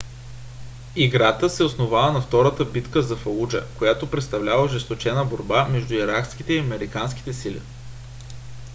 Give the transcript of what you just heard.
играта се основава на втората битка за фалуджа която представлява ожесточена борба между иракските и американските сили